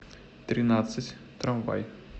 тринадцать трамвай